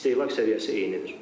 İstehlak səviyyəsi eynidir.